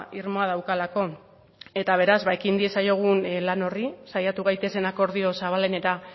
irmoa daukalako eta beraz ekin diezaiogun lan horri saiatu gaitezen akordio zabalenera